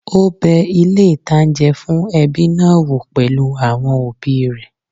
Ó bẹ ilé-ìtánjẹ fún ẹbí náà wò pẹ̀lú àwọn òbí rẹ̀